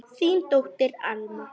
Þín dóttir, Alma.